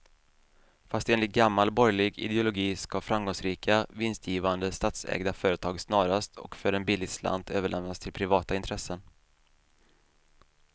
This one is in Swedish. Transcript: Fast enligt gammal borgerlig ideologi ska framgångsrika, vinstgivande statsägda företag snarast och för en billig slant överlämnas till privata intressen.